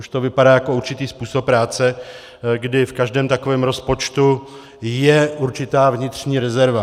Už to vypadá jako určitý způsob práce, kdy v každém takovém rozpočtu je určitá vnitřní rezerva.